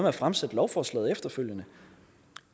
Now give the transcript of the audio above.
at fremsætte lovforslaget efterfølgende